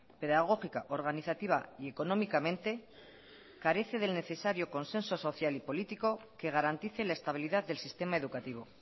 pedagógica organizativa y económicamente carece del necesario consenso social y político que garantice la estabilidad del sistema educativo